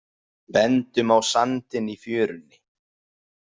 Bendum á sandinn í fjörunni.